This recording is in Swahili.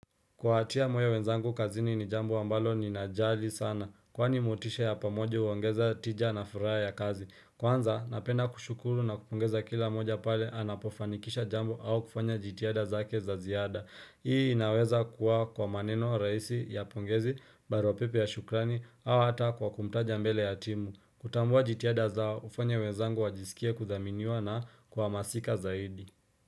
Kuwatia moyo wenzangu kazini ni jambo ambalo ni najali sana. Kwani motisha ya pamoje huongeza tija na furaha ya kazi. Kwanza, napenda kushukuru na kupongeza kila moja pale anapofanikisha jambo au kufanya jitihada zake za ziada. Hii inaweza kuwa kwa maneno rahisi ya pongezi, baruapepe ya shukrani, au hata kwa kumtaja mbele ya timu. Kutambua jitihada zao hufanya wenzangu wajisikie kudhaminiwa na kuhamasika zaidi.